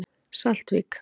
Saltvík